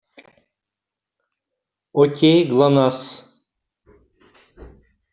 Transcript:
к кому пришла красавица